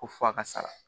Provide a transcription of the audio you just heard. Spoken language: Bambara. Ko f'a ka sara